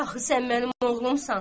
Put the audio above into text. Axı sən mənim oğlumsan.